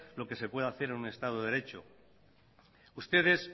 lo que se puede hacer en un estado de derecho ustedes